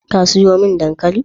Ka sayo mi dankalin?